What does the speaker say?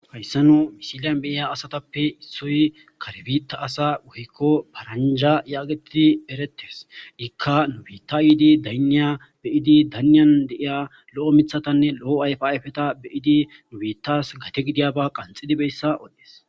hayssano misiliyan beiya asatappe issoy karbita asa woykko paranja yaagetidi eretes ikka nubita iidi dayniya beyidi dayniyan deiya lo7o mithatanne lo7o ayfa ayfeta beyidi nubitas gate gidiyaba qanxidibeyssa oddees